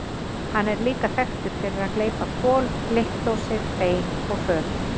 Hann er líka þekktur fyrir að gleypa kol, blikkdósir, bein og föt.